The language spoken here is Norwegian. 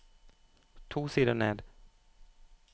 To sider ned